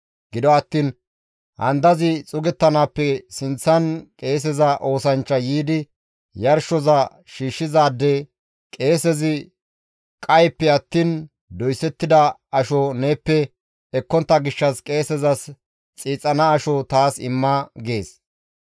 Gido attiin handazi xuugettanaappe sinththan qeeseza oosanchchay yiidi yarshoza shiishshizaade, «Qeesezi qayeppe attiin doysettida asho neeppe ekkontta gishshas qeesezas xiixana asho taas imma» gees.